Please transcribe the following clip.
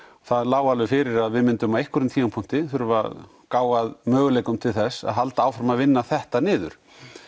það lá alveg fyrir að við myndum á einhverjum tímapunkti þurfa að gá að möguleikum til þess að halda áfram að vinna þetta niður